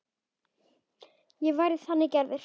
Ég væri þannig gerður.